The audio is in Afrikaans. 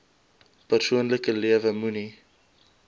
persoonlike lewe moenie